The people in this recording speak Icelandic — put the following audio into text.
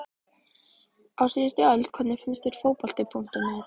Á síðustu öld Hvernig finnst þér Fótbolti.net?